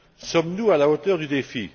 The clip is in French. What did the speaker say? Sommes nous à la hauteur du défi?